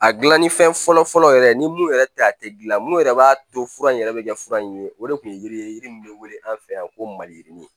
A gilanni fɛn fɔlɔ fɔlɔ yɛrɛ ni mun yɛrɛ tɛ a tɛ gilan mun yɛrɛ b'a to fura in yɛrɛ bɛ kɛ fura in ye o de kun ye yiri ye yiri min bɛ wele an fɛ yan ko maliyirini